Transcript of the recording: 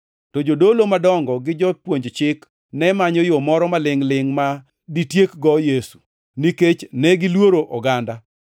to jodolo madongo gi jopuonj chik ne manyo yo moro malingʼ-lingʼ ma ditiek-go Yesu, nikech negiluoro oganda.